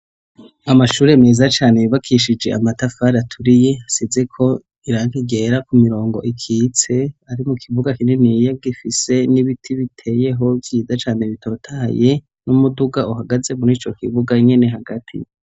Amashure meza cane yubakishije amatafari aturiye asize ko irangi ryera ku mirongo ikitse ari mu kibuga kinini yagifise n'ibiti biteyeho vyiza cane bitotaye n'umuduga uhagaze murico kibuga nkene hagati.